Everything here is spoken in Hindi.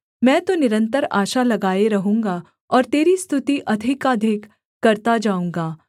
मैं तो निरन्तर आशा लगाए रहूँगा और तेरी स्तुति अधिकाधिक करता जाऊँगा